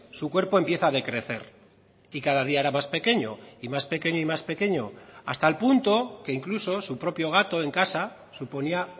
su cuerpo empieza a decrecer y cada día era más pequeño y más pequeño y más pequeño hasta el punto que incluso su propio gato en casa suponía